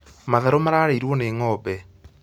Matharũ mararĩirwo nĩ ng'ombe